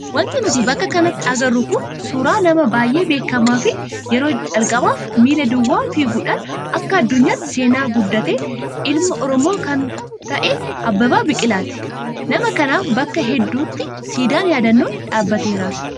Wanti nuti bakka kanatti agarru kun suuraa nama baay'ee beekamaa fi yeroo calqabaaf miila duwwaa fiiguudhaan akka addunyaatti seenaa guddate ilma oromoo kan ta'e Abbabaa Biqilaati. Nama kanaaf bakka hedduutti siidaan yaadannoo dhaabateeraaf.